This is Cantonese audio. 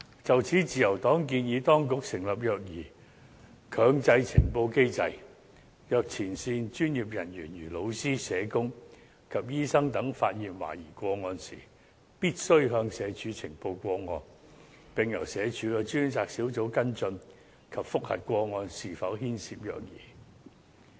就此，自由黨建議當局設立"虐兒強制呈報機制"，若前線專業人員，如老師、社工及醫生等發現懷疑個案，必須向社署呈報，並由社署的專責小組跟進及覆核個案是否牽涉虐兒。